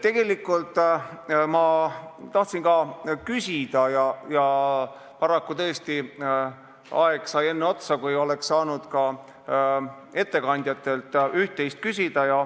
Tegelikult ma tahtsin ka küsida, aga paraku aeg sai enne otsa, kui oleks saanud ka ettekandjatelt üht-teist pärida.